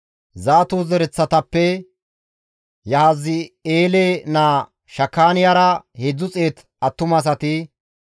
Zaato zereththatappe Yahazi7eele naa Shakaaniyara 300 attumasati,